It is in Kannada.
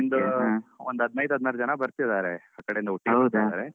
ಒಂದ್ ಒಂದ್ ಹದ್ನಾಯ್ಡು ಹದ್ನಾರು ಜನ ಬರ್ತಿದಾರೆ ಆ ಕಡೆ ಇಂದ ಒಟ್ಟಿಗ್ ಬರ್ತಾರೆ.